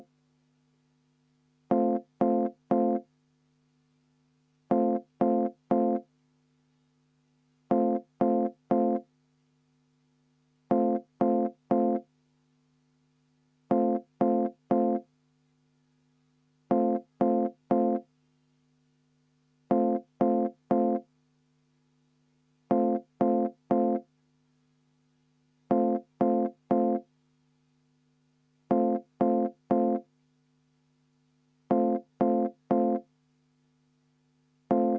Head ametikaaslased, panen lõpphääletusele eelnõu ...